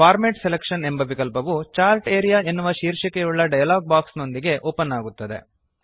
format selection ಎಂಬ ವಿಕಲ್ಪವು chart area ಎನ್ನುವ ಶೀರ್ಷಿಕೆಯುಳ್ಳ ಡಯಲಾಗ್ ಬಾಕ್ಸ್ ನೊಂದಿಗೆ ಓಪನ್ ಆಗುತ್ತದೆ